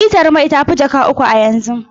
Litar mai ta fi jaka uku a yanzu.